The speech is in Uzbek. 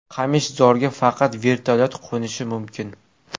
Qamishzorga faqat vertolyot qo‘nishi mumkin.